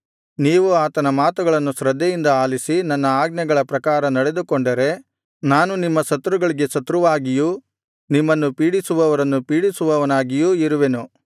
ನೀವು ಆತನ ಮಾತುಗಳನ್ನು ಶ್ರದ್ಧೆಯಿಂದ ಆಲಿಸಿ ನನ್ನ ಆಜ್ಞೆಗಳ ಪ್ರಕಾರ ನಡೆದುಕೊಂಡರೆ ನಾನು ನಿಮ್ಮ ಶತ್ರುಗಳಿಗೆ ಶತ್ರುವಾಗಿಯೂ ನಿಮ್ಮನ್ನು ಪೀಡಿಸುವವರನ್ನು ಪೀಡಿಸುವವನಾಗಿಯೂ ಇರುವೆನು